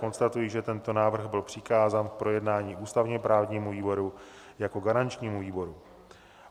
Konstatuji, že tento návrh byl přikázán k projednání ústavně-právnímu výboru jako garančnímu výboru.